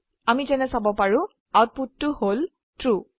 আমি যেনে চাব পাৰো আউটপুটতো হল ট্ৰু